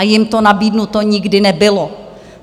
A jim to nabídnuto nikdy nebylo.